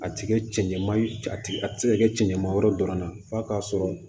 A ti kɛ cɛɲama ye a ti a ti se ka kɛ cɛɲama wɛrɛ dɔrɔn na f'a ka sɔrɔ